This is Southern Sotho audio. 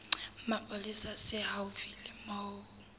mapolesa se haufi le moo